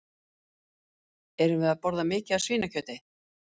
Erum við að borða mikið af svínakjöti?